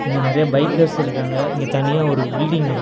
இங்க நெறையா பைக்கர்ஸ் இருக்காங்க இங்க தனியா ஒரு பில்டிங் இருக் --